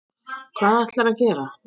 Hvað ætlarðu að gera?